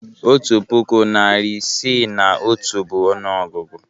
Otu puku, narị isii na otu bụ ọnụọgụgụ.